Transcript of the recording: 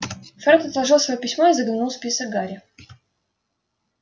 фред отложил своё письмо и заглянул в список гарри